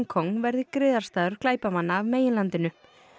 Kong verði griðastaður glæpamanna af meginlandinu